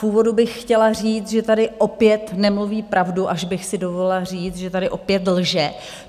V úvodu bych chtěla říct, že tady opět nemluví pravdu, až bych si dovolila říct, že tady opět lže.